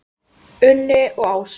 Unni og Ásu.